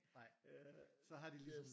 Så har de ligesom